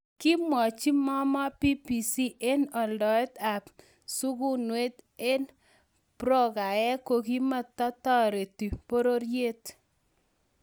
Kimwachi Momoh BBC en aldaet ab sukunweet en brokaek kokimata tareti bororyet